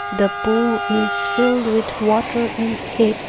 the pool is filled with water in it.